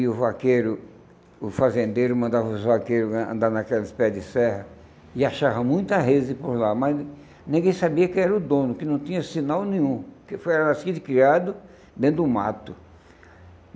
E o vaqueiro, o fazendeiro mandava os vaqueiros andar naqueles pés de serra e achava muita por lá, mas ninguém sabia quem era o dono, que não tinha sinal nenhum, que foi era nascido e criado dentro do mato.